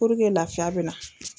Puruke lafiya be na